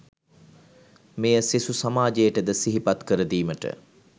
මෙය සෙසු සමාජයට ද සිහිපත් කරදීමට